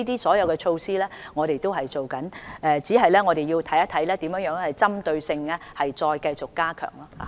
所有措施我們都正在做，只是要看看如何針對性地再繼續加強。